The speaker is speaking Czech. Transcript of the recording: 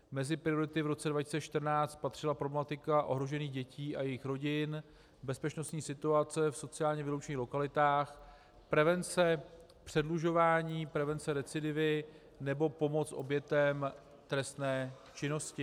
Mezi priority v roce 2014 patřila problematika ohrožených dětí a jejich rodin, bezpečnostní situace v sociálně vyloučených lokalitách, prevence předlužování, prevence recidivy nebo pomoc obětem trestné činnosti.